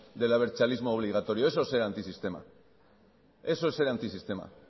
del abertzalismo obligatorio eso es ser antisistema